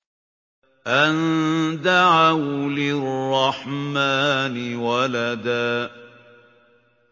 أَن دَعَوْا لِلرَّحْمَٰنِ وَلَدًا